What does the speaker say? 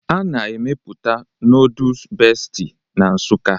A na-emepụta noodus Bestie na Nsukka